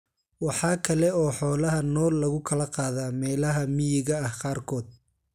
Waxa kale oo xoolaha nool lagu kala qaadaa meelaha miyiga ah qaarkood.